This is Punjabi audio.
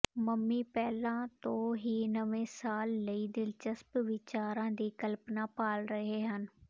ਮੰਮੀ ਪਹਿਲਾਂ ਤੋਂ ਹੀ ਨਵੇਂ ਸਾਲ ਲਈ ਦਿਲਚਸਪ ਵਿਚਾਰਾਂ ਦੀ ਕਲਪਨਾ ਭਾਲ ਰਹੇ ਹਨ